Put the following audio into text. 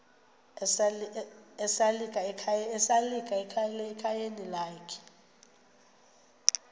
esalika ekhayeni lakhe